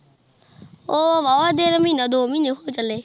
ਉਹ ਵਾਹ-ਵਾਹ ਦੇਰ ਮਹੀਨਾ ਦੋ ਮਹੀਨੇ ਹੋ ਚੱਲੇ।